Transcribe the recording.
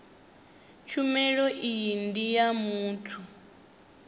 tshumelo iyi ndi ya muthu